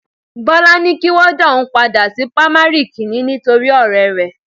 Bọ́lá ní kí wọn dá òun padà sí pamari kìíní nítorí ọrẹ rẹ